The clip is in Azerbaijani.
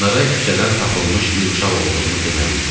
Onlara küçədən tapılmış bir uşaq olduğumu deməli idim.